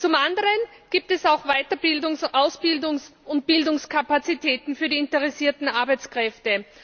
Zum anderen gibt es auch Weiterbildungs Ausbildungs und Bildungskapazitäten für die interessierten Arbeitskräfte.